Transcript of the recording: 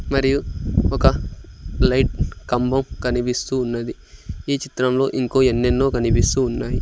మరియు ఒక లైట్ కంబం కనిపిస్తూ ఉన్నది ఈ చిత్రంలో ఇంకో ఎన్నెన్నో కనిపిస్తూ ఉన్నాయి.